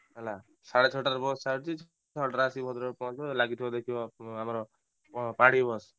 ହେଲା ସାଡ଼େ ଛଟାରେ ବସ ଛାଡ଼ୁଛି ଛଡ଼ାରେ ଆସିକି ଭଦ୍ରକରେ ପହଞ୍ଚିବ ଲାଗିଥିବ ଦେଖିବ ଆମର ପାଢୀ ବସ।